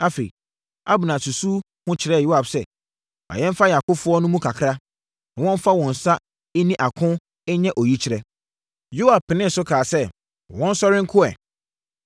Afei, Abner susuu ho kyerɛɛ Yoab sɛ, “Ma yɛmfa yɛn akofoɔ no mu kakra, na wɔmfa wɔn nsa nni ako nyɛ oyikyerɛ.” Yoab penee so kaa sɛ, “Wɔnsɔre nko ɛ.”